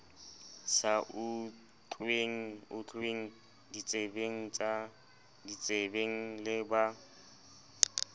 sa utlweng ditsebeng le ba